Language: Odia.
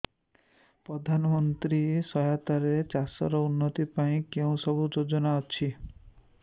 ପ୍ରଧାନମନ୍ତ୍ରୀ ସହାୟତା ରେ ଚାଷ ର ଉନ୍ନତି ପାଇଁ କେଉଁ ସବୁ ଯୋଜନା ଅଛି